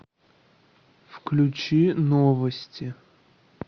включи новости